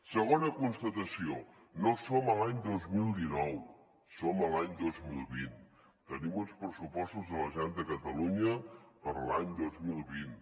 segona constatació no som a l’any dos mil dinou som a l’any dos mil vint tenim uns pressupostos de la generalitat de catalunya per a l’any dos mil vint